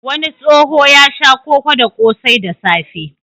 Wani tsoho ya sha koko da ƙosai da safe.